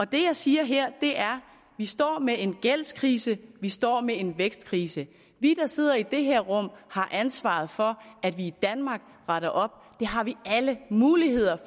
det jeg siger her er at vi står med en gældskrise at vi står med en vækstkrise vi der sidder i det her rum har ansvaret for at vi i danmark retter op det har vi alle muligheder